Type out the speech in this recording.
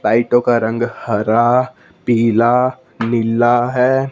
लाईटों का रंग हरा पीला नीला है।